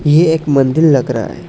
ये एक मंदिर लग रहा है।